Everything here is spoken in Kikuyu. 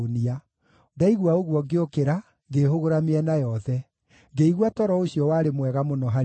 Ndaigua ũguo ngĩũkĩra, ngĩĩhũgũra mĩena yothe. Ngĩigua toro ũcio warĩ mwega mũno harĩ niĩ.